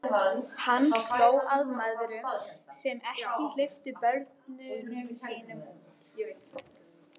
Hann hló að mæðrunum sem ekki hleyptu börnunum sínum út.